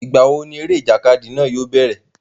Ìgbà wo ni eré ìjàkadì náà yóò bẹ̀rẹ̀?